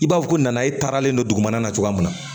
I b'a fɔ ko nana e taaralen don dugumana na cogoya min na